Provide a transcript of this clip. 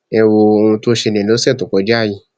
ẹ wo ohun tó ṣẹlẹ lọsẹ tó kọjá yìí